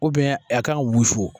U biyɛn a kan ka wusu